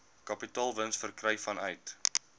kapitaalwins verkry vanuit